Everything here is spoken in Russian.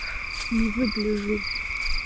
не выгляжу